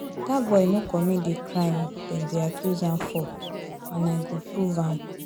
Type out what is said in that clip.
Dat boy no commit the crime dem dey accuse am for and I go prove am